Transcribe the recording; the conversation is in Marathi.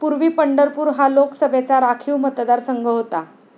पूर्वी पंढरपूर हा लोकसभेचा राखीव मतदारसंघ होता.